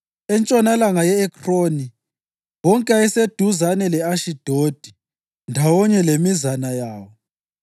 entshonalanga ye-Ekroni, wonke ayeseduzane le-Ashidodi, ndawonye lemizana yawo;